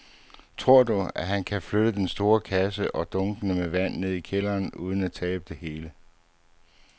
Tror du, at han kan flytte den store kasse og dunkene med vand ned i kælderen uden at tabe det hele?